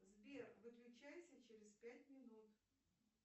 сбер выключайся через пять минут